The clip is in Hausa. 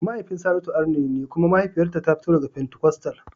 Mahaifin Saratu arne ne kuma mahaifiyarta ta fito daga fentikostal.